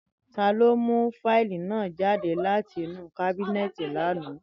Tani o mu fáìlì naa jade lati inu kábínẹ́ẹ̀tì lana?